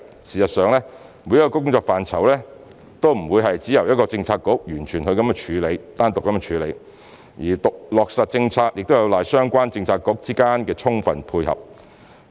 事實上，每一個工作範疇都不會完全只由一個政策局單獨處理，落實政策亦有賴相關政策局之間的充分配合。